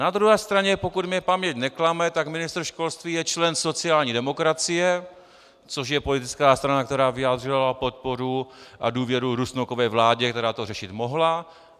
Na druhé straně, pokud mě paměť neklame, tak ministr školství je člen sociální demokracie, což je politická strana, která vyjádřila podporu a důvěru Rusnokově vládě, která to řešit mohla.